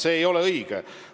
See ei ole õige!